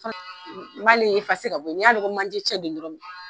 N b'ale ka bɔ yen, ni y'a dɔn ko manje cɛ don dɔrɔnw.